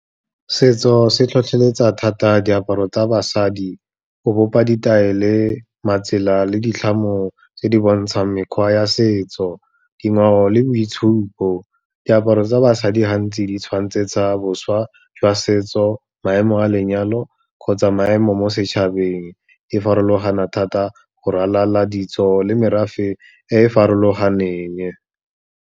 Setso se tlhotlheletsa thata diaparo tsa basadi go bopa ditaele, matsela le ditlhamo tse di bontshang mekgwa ya setso, dingwao le boitshupo. Diaparo tsa basadi gantsi di tshwantsetsa boswa jwa setso, maemo a lenyalo kgotsa maemo mo setšhabeng, di farologana thata go ralala ditso le merafe e e farologaneng.